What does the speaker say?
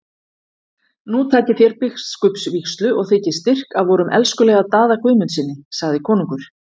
Nú takið þér biskupsvígslu og þiggið styrk af vorum elskulega Daða Guðmundssyni, sagði konungur.